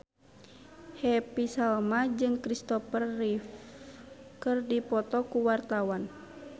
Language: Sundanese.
Happy Salma jeung Christopher Reeve keur dipoto ku wartawan